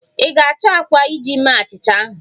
Ị ga-achọ àkwá iji mee achịcha ahụ.